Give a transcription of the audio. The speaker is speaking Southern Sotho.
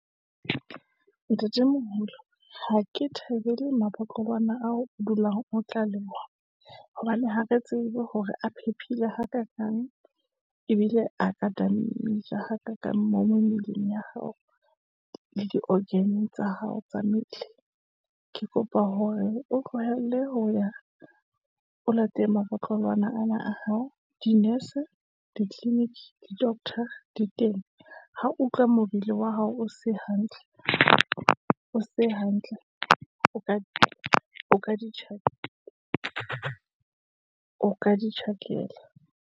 Ntatemoholo ha ke thabele mabotlolwana ao o dulang, otla le ona, hobane ha re tsebe hore a phephile hakakang, ebile hakakang mo mo mmeleng ya hao, le di-organ tsa hao tsa mmele. Ke kopa hore o tlohelle ho ya o latele mabotlolwana ana a hao. Dinese ditleleniki, di-docter, di teng ho utlwa mobele wa hao o se hantle, o ka di tjhakela.